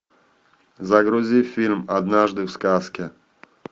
загрузи фильм однажды в сказке